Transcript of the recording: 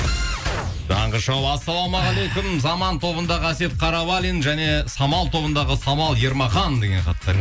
таңғы шоу ассалаумағалейкум заман тобындағы әсет қарабалин және самал тобындағы самал ермахан деген хаттар